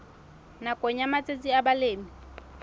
nakong ya matsatsi a balemi